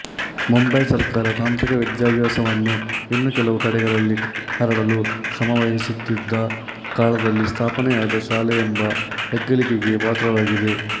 ಮುಂಬಯಿ ಸರ್ಕಾರ ತಾಂತ್ರಿಕ ವಿದ್ಯಾಭ್ಯಾಸವನ್ನು ಇನ್ನೂ ಕೆಲವು ಕಡೆಗಳಲ್ಲಿ ಹರಡಲು ಶ್ರಮವಹಿಸುತ್ತಿದ್ದ ಕಾಲದಲ್ಲಿ ಸ್ಥಾಪನೆಯಾದ ಶಾಲೆಯೆಂಬ ಹೆಗ್ಗಳಿಕೆಗೆ ಪಾತ್ರವಾಗಿದೆ